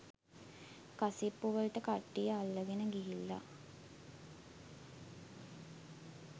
කසිප්පු වලට කට්ටිය අල්ලගෙන ගිහිල්ලා